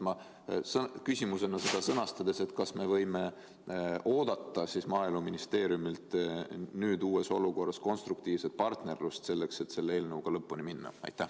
Ma küsimuse sõnastan nii: kas me võime nüüd uues olukorras oodata Maaeluministeeriumilt konstruktiivset partnerlust, et selle eelnõuga lõpuni minna?